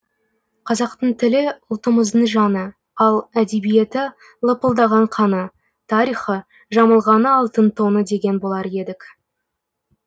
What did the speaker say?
қазақтың тілі ұлтымыздың жаны ал әдебиеті лыпылдаған қаны тарихы жамылғаны алтын тоны деген болар едік